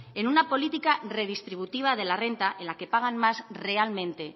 en una política redistributiva de la renta en la que pagan más realmente